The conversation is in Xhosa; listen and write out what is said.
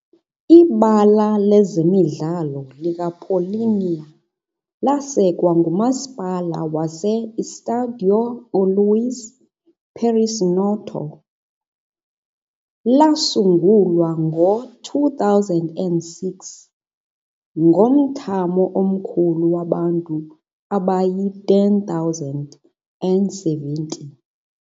Ibala lezemidlalo likaPaulínia ngumasipala wase-Estádio uLuís Perissinoto, yasungulwa ngo-2006, ngomthamo omkhulu wabantu abayi-10,070.